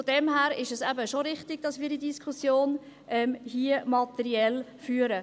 Daher ist es eben schon richtig, dass wir diese Diskussion hier materiell führen.